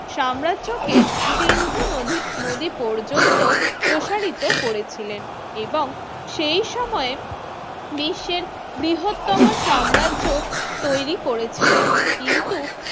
সাম্রাজ্যকে সিন্ধু নধী নদী পর্যন্ত প্রসারিত করেছিলেন এবং সেই সময়ে বিশ্বের বৃহত্তম সাম্রাজ্য তৈরি করেছিলেন কিন্তু